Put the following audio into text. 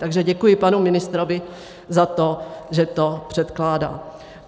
Takže děkuji panu ministrovi za to, že to předkládá.